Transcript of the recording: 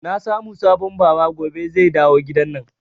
Na samu sabon Baba gobe zai dawo gidanan